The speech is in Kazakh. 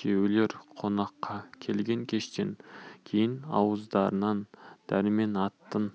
күйеулер қонаққа келген кештен кейін ауыздарынан дәрмен атын